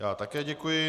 Já také děkuji.